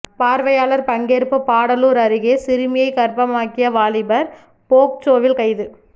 பார்வையாளர் பங்கேற்பு பாடாலூர் அருகே சிறுமியை கர்ப்பமாகிய வாலிபர் போக்சோவில் கைது